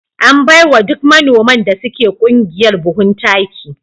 An bai wa duk manoman da suke ƙungiyar buhun. taki